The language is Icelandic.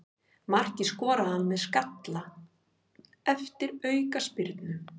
Markið skoraði hann með skalla eftir aukaspyrnu.